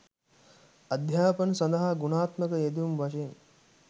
අධ්‍යාපන සඳහා ගුණාත්මක යෙදවුම් වශයෙන්